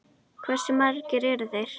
Hversu margir eru þeir?